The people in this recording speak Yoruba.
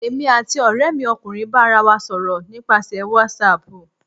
èmí atí oremi ọkunrin ba ará wa sọrọ nipasẹ watsap.